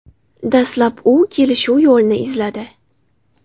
Dastlab u kelishuv yo‘lini izladi.